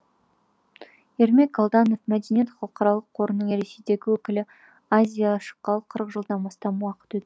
ермек алданов мәдениет халықаралық қорының ресейдегі өкілі аз и я шыққалы қырық жылдан астам уақыт өт